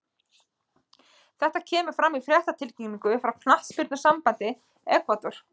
Þetta kemur fram í fréttatilkynningu frá knattspyrnusambandi Ekvador.